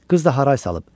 Qız da haray salıb.